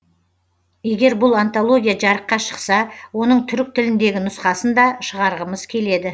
егер бұл антология жарыққа шықса оның түрік тіліндегі нұсқасын да шығарғымыз келеді